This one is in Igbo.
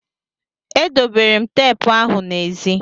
E dobere m teepu ahụ n'ezi.